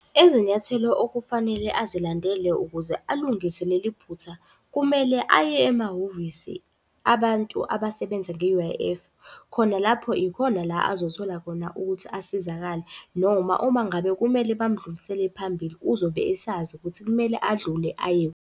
Izinyathelo okufanele azilandele ukuze alungise leli phutha, kumele aye emahhovisi abantu abasebenza nge-U_I_F, khona lapho ikhona la azothola khona ukuthi asizakale, noma uma ngabe kumele bamdlulisele phambili uzobe esazi ukuthi kumele adlule ayephi.